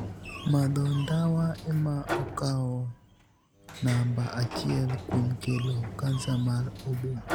Madho ndawa ema okawo namba achiel kuom kelo kansa mar oboo.